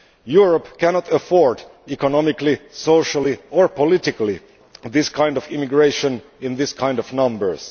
Europe cannot afford economically, socially or politically this kind of immigration in these kinds of numbers.